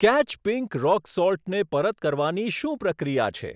Catch pink rock સોલ્ટને પરત કરવાની શું પ્રક્રિયા છે?